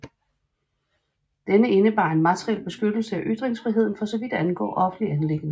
Denne indebar en materiel beskyttelse af ytringsfriheden for så vidt angår offentlige anliggender